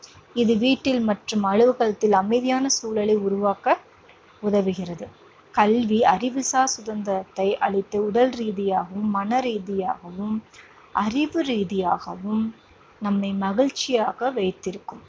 இது வீட்டில் மற்றும் அலுவலகத்தில் அமைதியான சூழலை உருவாக்க உதவுகிறது. கல்வி அறிவுசார் சுதந்திரத்தை அளித்து உடல்ரீதியாகவும், மனரீதியாகவும், அறிவு ரீதியாகவும் நம்மை மகிழ்ச்சியாக வைத்திருக்கும்.